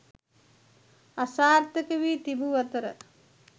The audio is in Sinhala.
අසාර්ථක වී තිබූ අතර